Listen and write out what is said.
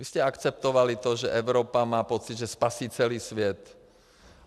Vy jste akceptovali to, že Evropa má pocit, že spasí celý svět.